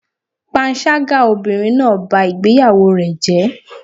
Panṣágà obìnrin náà bá ìgbéyàwó rẹ̀ jẹ́.